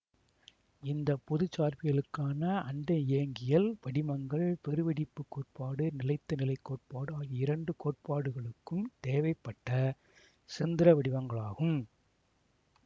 இந்த பொது சார்பியலுக்கான அண்ட இயங்கியல் படிமங்கள் பெரு வெடிப்புக் கோட்பாடு நிலைத்த நிலை கோட்பாடு ஆகிய இரண்டு கோட்பாடுகளுக்கும் தேவைப்பட்ட செந்தர வடிவங்களாகும்